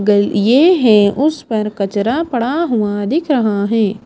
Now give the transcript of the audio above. गल ये है उस पर कचरा पड़ा हुआ दिख रहा हैं।